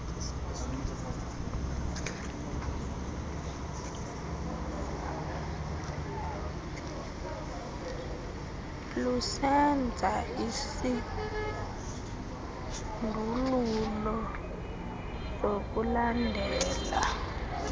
lusenza isindululo sokulandela